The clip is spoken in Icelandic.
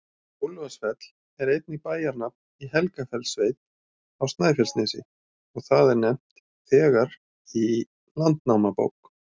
Úlfarsfell er einnig bæjarnafn í Helgafellssveit á Snæfellsnesi, og það er nefnt þegar í Landnámabók.